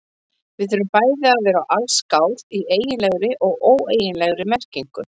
Við þurfum bæði að verða allsgáð í eiginlegri og óeiginlegri merkingu.